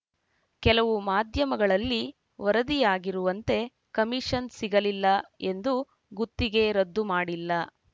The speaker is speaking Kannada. ಕೆಲವು ಮಾಧ್ಯಮಗಳಲ್ಲಿ ವರದಿಯಾಗಿರುವಂತೆ ಕಮೀಷನ್ ಸಿಗಲಿಲ್ಲ ಎಂದು ಗುತ್ತಿಗೆ ರದ್ದು ಮಾಡಿಲ್ಲ